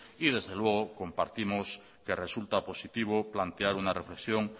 y desde luego compartimos que resulta positivo plantear una reflexión